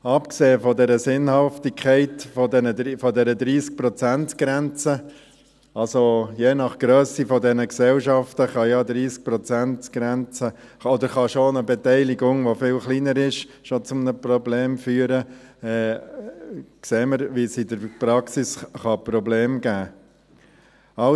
Abgesehen von der Sinnhaftigkeit dieser 30-Prozent-Grenze – je nach Grösse dieser Gesellschaften kann ja eine 30-Prozent-Grenze oder eine Beteiligung, die viel kleiner ist, schon zu einem Problem führen – sehen wir, wie es in der Praxis Probleme geben kann.